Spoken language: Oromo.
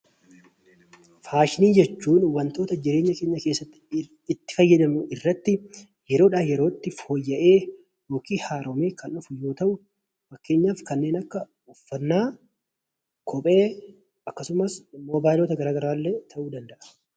Faashinii jechuun wantoota jireenya keenya keessatti itt fayyadamnu irratti yeroodhaa yerootti fooyya'ee yookiin haarahee kan dhufu yoo ta'u, fakkeenyaaf kanneen akka: uffannaa, kophee, akkasumas bilbila garaa garaa illee ta'uu danda'a.